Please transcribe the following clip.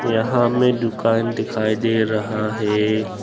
यहां में दुकान दिखाई दे रहा है।